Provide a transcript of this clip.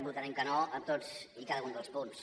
votarem que no a tots i cada un dels punts